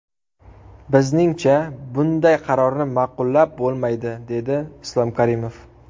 Bizningcha, bunday qarorni ma’qullab bo‘lmaydi”, dedi Islom Karimov.